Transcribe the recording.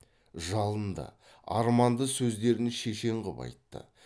жалынды арманды сөздерін шешен қып айтты